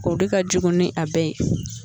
O de ka jugu ni a bɛɛ ye